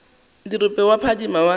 dirope tša go phadima wa